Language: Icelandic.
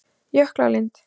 Jöklalind